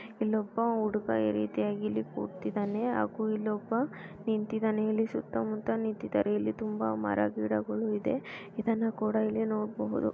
ಇನ್ನೊಬ್ಬ ಹುಡುಗ ಈ ರೀತಿಯಾಗಿ ಇಲ್ಲಿ ಕೂತಿದ್ದಾನೆ ಹಾಗೂ ಇಲ್ಲೊಬ್ಬ ನಿಂತಿದ್ದಾನೆ ಇಲ್ಲಿ ಹಾಗೂಇಲ್ಲೊಬ್ಬ ಸುತ್ತಮುತ್ತನಿಂತಿದ್ದಾರೆ ಸುತ್ತ ಮುತ್ತ ತುಂಬಾ ಮರ ಗಿಡಗಳು ಇದೆ ಇದನ್ನು ಕೂಡ ಇಲ್ಲಿ ನೋಡ್ಬಹುದು.